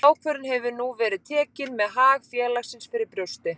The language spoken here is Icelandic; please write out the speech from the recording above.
Sú ákvörðun hefur nú verið tekin með hag félagsins fyrir brjósti.